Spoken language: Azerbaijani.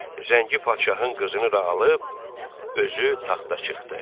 Zəngi padşahın qızını da alıb özü taxta çıxdı.